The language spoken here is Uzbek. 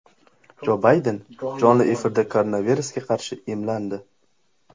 Jo Bayden jonli efirda koronavirusga qarshi emlandi .